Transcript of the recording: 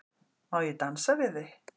Má ég dansa við þig?